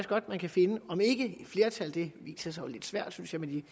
godt man kan finde om ikke et flertal det viser sig jo lidt svært synes jeg med de